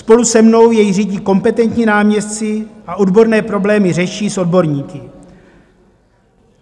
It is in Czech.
Spolu se mnou jej řídí kompetentní náměstci a odborné problémy řeší s odborníky.